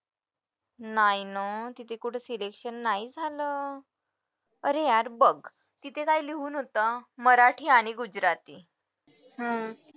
नाय ना तिथे कुठे selection नाही झालं अरे यार बघ तिथे काय लिहून होतं मराठी आणि